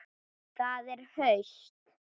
Það er haust.